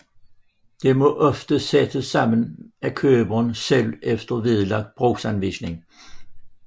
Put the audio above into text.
Det må ofte sættes sammen af køberen selv efter vedlagt brugsanvisning